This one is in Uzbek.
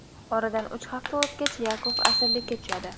Oradan uch hafta o‘tgach Yakov asirlikka tushadi.